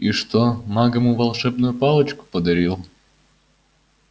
и что маг ему волшебную палочку подарил